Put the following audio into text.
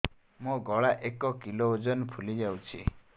ମୋ ଗଳା ଏକ କିଲୋ ଓଜନ ଫୁଲି ଯାଉଛି